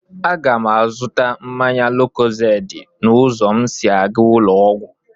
A ga m azụta mmanya lókózéédị n'ụzọ m sị à ga ụlọ ọgwụ